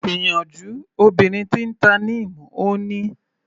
Gbìyànjú obìnrin tí ń ta Neem, Ó ní.